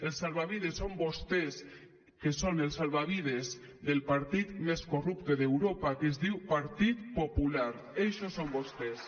els salvavides són vostès que són el salvavides del partit més corrupte d’europa que es diu partit popular eixos són vostès